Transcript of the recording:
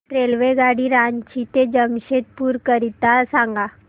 रेल्वेगाडी रांची ते जमशेदपूर करीता सांगा